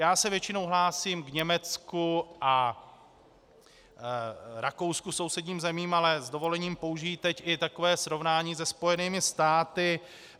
Já se většinou hlásím k Německu a Rakousku, sousedním zemím, ale s dovolením použiji teď i takové srovnání se Spojenými státy.